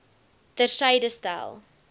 ter syde stel